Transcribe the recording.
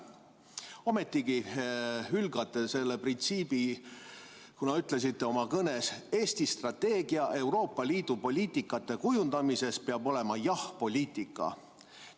Ometigi hülgate selle printsiibi, kuna ütlesite oma kõnes, et Eesti strateegia Euroopa Liidu poliitika kujundamises peab olema jah‑poliitika.